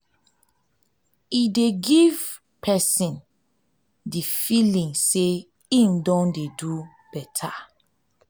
e dey give give person di feeling sey im don do better thing